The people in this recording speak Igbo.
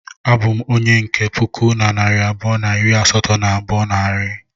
Abu m onye nke puku na narị abụọ na iri asatọ na abụọ n'ahiri